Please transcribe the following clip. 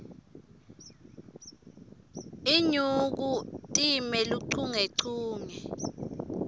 inyuku time luchungechunge